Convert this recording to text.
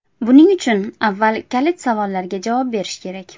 Buning uchun avval kalit savollarga javob berish kerak.